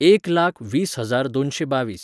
एक लाख वीस हजार दोनशें बावीस.